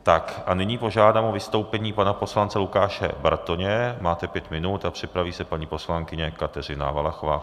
Tak, a nyní požádám o vystoupení pana poslance Lukáše Bartoně, máte pět minut, a připraví se paní poslankyně Kateřina Valachová.